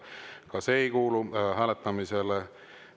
Ka see ei kuulu hääletamisele.